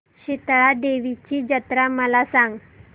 शितळा देवीची जत्रा मला सांग